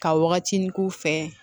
Ka wagati k'u fɛ